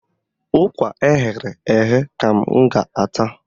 Ụkwa eghere eghe ka m ga-ata.